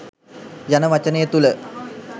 යන වචනය තුළ